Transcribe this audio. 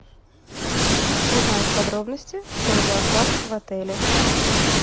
узнать подробности про зоопарк в отеле